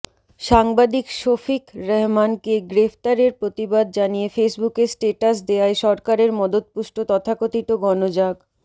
সাংবাদিক শফিক রেহমানকে গ্রেপ্তারের প্রতিবাদ জানিয়ে ফেসবুকে স্ট্যাটাস দেয়ায় সরকারের মদতপুষ্ট তথাকথিত গণজাগ